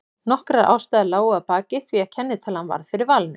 Nokkrar ástæður lágu að baki því að kennitalan varð fyrir valinu.